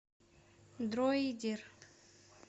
дроидер